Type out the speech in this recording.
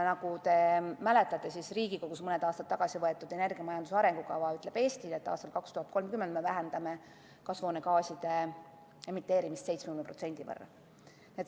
Nagu te mäletate, ütleb Riigikogus mõned aastad tagasi vastu võetud energiamajanduse arengukava Eestile, et aastaks 2030 me vähendame kasvuhoonegaaside emiteerimist 70%.